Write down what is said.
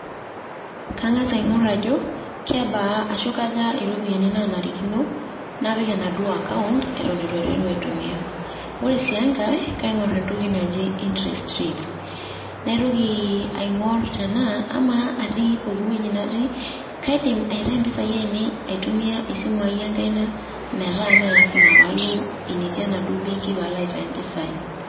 Kang`as aing`orr ajo kebaa ashu kaja irropiyiani naanarikino napik enaduo account eton eitu aiteru aitumia. Ore sii enkae kaing`orr entoki naji [cs interest rates, naitoki aing`or tenaa amaa atii poki wueji natii kaidim aitayu mpisai ainei aitumia esimu ai enkaina, metaa mme lazima pe alo enetii enaduo benki pee alo aitayu mpisai.